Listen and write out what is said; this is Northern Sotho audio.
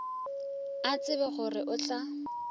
a tsebe gore o tla